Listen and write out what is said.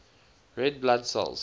red blood cells